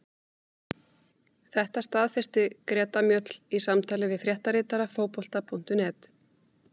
Þetta staðfesti Greta Mjöll í samtali við fréttaritara Fótbolta.net.